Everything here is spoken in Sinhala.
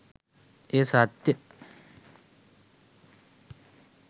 එය සත්‍ය